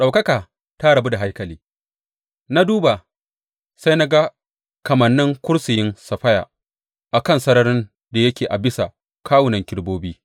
Ɗaukaka ta rabu da haikali Na duba, sai na ga kamannin kursiyin saffaya a kan sararin da yake a bisa kawunan kerubobi.